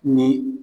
Ni